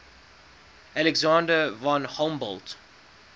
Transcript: alexander von humboldt